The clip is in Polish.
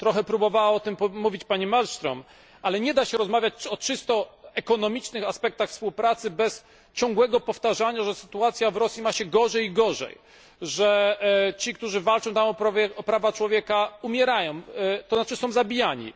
Trochę próbowała o tym mówić pani Malmström, ale nie da się rozmawiać o czysto ekonomicznych aspektach współpracy bez ciągłego powtarzania, że sytuacja w Rosji ma się gorzej i gorzej, że ci, którzy walczą tam o prawa człowieka, są zabijani.